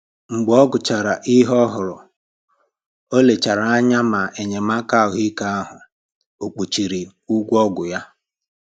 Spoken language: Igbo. Mgbe ọ gụchàrà ihe òhùrù, ọ lechàrà anya ma enyémàkà ahụ́ ike ahụ o kpuchiri ụgwọ ọgwụ ya